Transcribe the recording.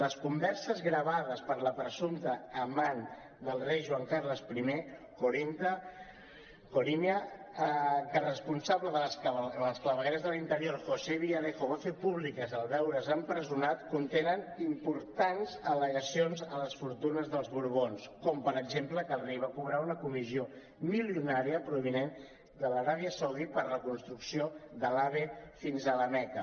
les converses gravades per la presumpta amant del rei joan carles i corina que el responsable de les clavegueres de l’interior josé villarejo va fer públiques en veure’s empresonat contenen importants al·legacions a les fortunes dels borbons com per exemple que el rei va cobrar una comissió milionària provinent de l’aràbia saudita per la reconstrucció de l’ave fins a la meca